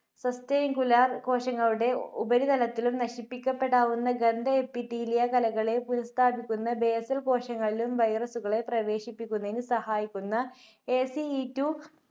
കോശങ്ങളുടെ ഉപരിതലത്തിലും നശിപ്പിക്കപ്പെടാവുന്ന ഗന്ധ epithelia കലളെ ഉല്പാദിപ്പിക്കുന്ന nasal കോശങ്ങളിലും virus കളെ പ്രവേശിപ്പിക്കുന്നതിന് സഹായിക്കുന്ന ACE two